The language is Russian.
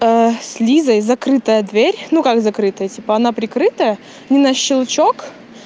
с лизой закрытая дверь ну как закрытая типа она прикрытая на щелчок